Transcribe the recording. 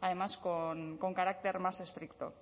además con carácter más estricto